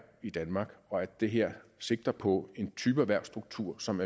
i danmark og at det her sigter på en type erhvervsstruktur som